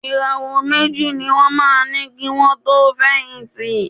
Ìràwọ̀ méjì ní wọ́n máa ní kì wọn tó fẹ̀yìntì.